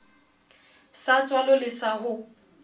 sa tswalo le sa ho